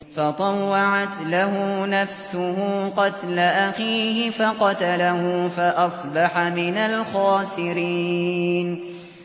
فَطَوَّعَتْ لَهُ نَفْسُهُ قَتْلَ أَخِيهِ فَقَتَلَهُ فَأَصْبَحَ مِنَ الْخَاسِرِينَ